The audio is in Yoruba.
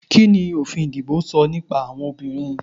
Kíni òfin ìdìbò sọ nípa àwọn obìnrin?